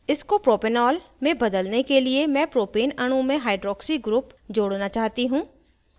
इसको propanol में बदलने के लिए मैं propane अणु में hydroxy group जोड़ना चाहती हूँ